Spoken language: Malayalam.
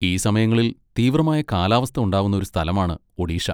ഈ സമയങ്ങളിൽ തീവ്രമായ കാലാവസ്ഥ ഉണ്ടാവുന്ന ഒരു സ്ഥലമാണ് ഒഡീഷ.